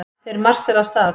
Þeir marsera af stað.